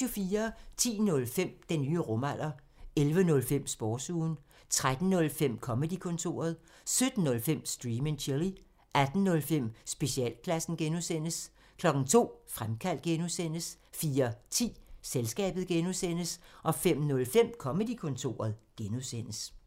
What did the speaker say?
10:05: Den nye rumalder 11:05: Sportsugen 13:05: Comedy-kontoret 17:05: Stream and chill 18:05: Specialklassen (G) 02:00: Fremkaldt (G) 04:10: Selskabet (G) 05:05: Comedy-kontoret (G)